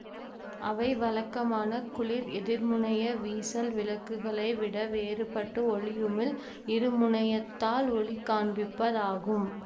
அவை வழக்கமான குளிர் எதிர்முனைய வீசல் விளக்குகளை விட வேறுபட்டு ஒளியுமிழ் இருமுனையத்தால் ஒளி காண்பிப்பதாகும்